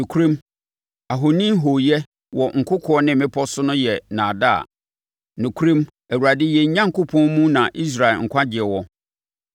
Nokorɛm, ahoni hooyɛ wɔ nkokoɔ ne mmepɔ so no yɛ nnaadaa; nokorɛm, Awurade yɛn Onyankopɔn mu na Israel nkwagyeɛ wɔ.